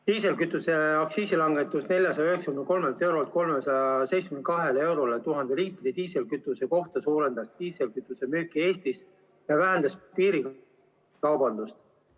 Diislikütuse aktsiisi langetus 493 eurolt 372 eurole 1000 liitri kohta suurendas diislikütuse müüki Eestis ja vähendas piirikaubandust.